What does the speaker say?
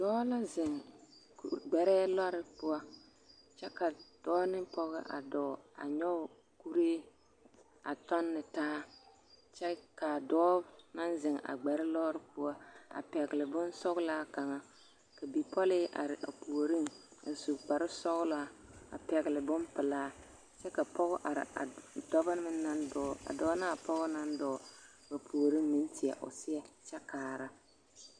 Dɔɔ la zeŋ gbɛrɛɛ lɔre poɔ kyɛ ka dɔɔ ne pɔge a dɔɔ a nyɔge kuree a tɔnne taa kyɛ k'a dɔɔ naŋ zeŋ a gbɛre lɔre poɔ a pɛgele bonsɔgelaa kaŋa ka bipɔlee are a puoriŋ a su kpare sɔgelaa a pɛgele bompelaa kyɛ ka pɔge are a dɔbɔ meŋ naŋ dɔɔ a dɔɔ naa pɔge naŋ dɔɔ ba puoriŋ meŋ teɛ o seɛ kyɛ kaara.